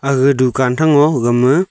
aga dukan thang ma gama.